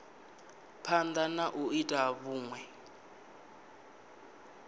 phanda na u ita vhunwe